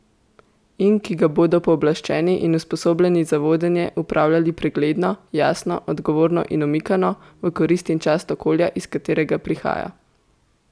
In ki ga bodo pooblaščeni in usposobljeni za vodenje upravljali pregledno, jasno, odgovorno in omikano, v korist in čast okolja, iz katerega prihaja.